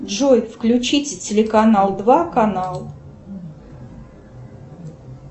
джой включите телеканал два канал